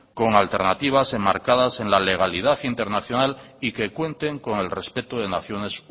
con alternativas enmarcadas en la legalidad internacional y que cuenten con el respeto de naciones